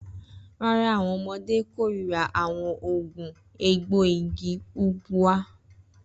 Rara, awọn ọmọde korira awọn oogun egboigi Ubwa